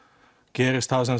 gerist það